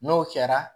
N'o kɛra